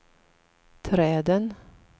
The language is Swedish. träden